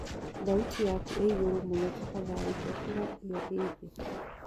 thaũtĩ yakũ iiĩgũrũ mũno tafadhalĩ cokera io ii thĩĩ